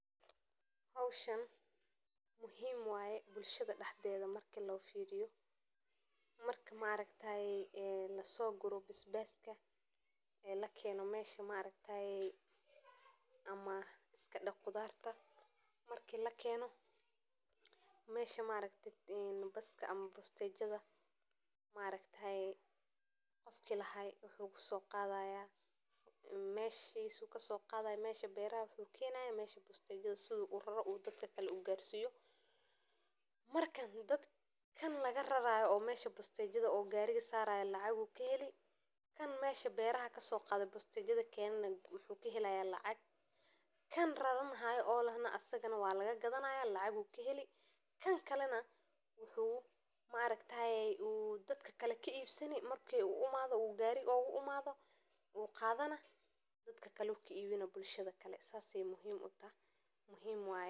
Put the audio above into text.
Shaqaalaha beeraha waxay kaalin muhiim ah ka qaadan wanaaga iyo horumarka dhaqanka beeraha, waxayna sameeyaan shaqooyin badan oo adag sida qodista, beerida, ilaalinta, iyo xannibaadda khudaarta, midhaha, iyo xoolaha, iyagoo inta badan ka shaqeeya cimilooyin kala duwan oo ay ku jiraan qoraxda kulul iyo roobabka xooggan, si aan ay ugu dhaqangelin in ay soo saaraan noocyo kala ah ee cuntada ay u baahan yihiin bulshada, waxayna u baahan yihiin aqoon, karti, iyo dadaal joogto ah si ay u gaaraan soo saarista sare.